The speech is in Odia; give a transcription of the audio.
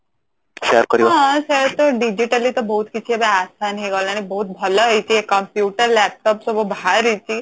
ହଁ ସେଇଆ ତ digitally ତ ଏବେ ବହୁତ କିଛି assign ହେଇଗଲାଣି ବହୁତ ଭଲ ହେଇଛି ଏ computer laptop ସବୁ ଭାଆରିଛି